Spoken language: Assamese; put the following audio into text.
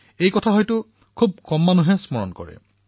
এই কথাটো বোধহয় কিছুলোকেহে স্মৰণ কৰে